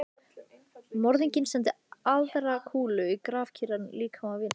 Morðinginn sendi aðra kúlu í grafkyrran líkama vinar síns.